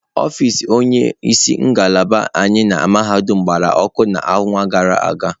Ọfịs onye isi ngalaba anyị na mahadum gbara ọkụ n'ọnwa gara aga.